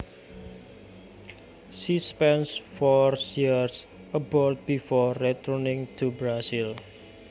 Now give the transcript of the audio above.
She spent four years abroad before returning to Brazil